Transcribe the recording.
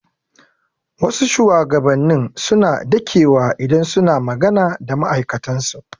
Wasu shugabanni suna dakewa idan suna maga da ma'aikatan su.